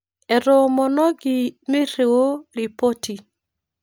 Etoomonoki mirriu ripoti